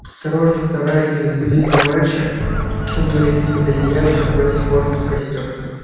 осторожно стараясь не разбудить товарища он вылез из под одеяла и подбросил хвороста в костёр